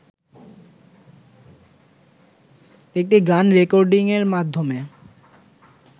একটি গান রেকর্ডিংয়ের মাধ্যমে